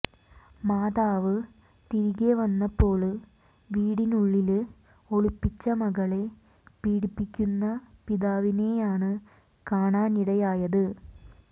മാതാവ് തിരികെ വന്നപ്പോള് വീടിനുള്ളില് ഒളിപ്പിച്ച മകളെ പീഡിപ്പിക്കുന്ന പിതാവിനെയാണ് കാണാനിടയായത്